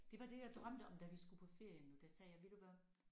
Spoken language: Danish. Det var det jeg drømte om da vi skulle på ferie nu der sagde jeg ved du hvad